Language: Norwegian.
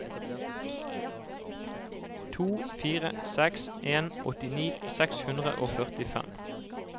to fire seks en åttini seks hundre og førtifem